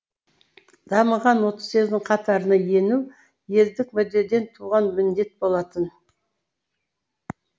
дамыған отыз елдің қатарына ену елдік мүддеден туған міндет болатын